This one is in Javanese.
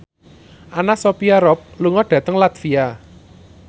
Anna Sophia Robb lunga dhateng latvia